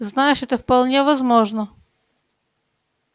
знаешь это вполне возможно